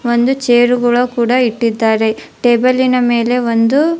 ಒಂದು ಚೇರ್ ಗುಳು ಕೂಡ ಇಟ್ಟಿದ್ದಾರೆ ಟೇಬಲಿನ ಮೇಲಿನ ಒಂದು --